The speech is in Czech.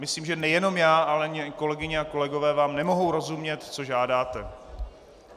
Myslím, že nejenom já, ale i kolegyně a kolegové vám nemohou rozumět, co žádáte.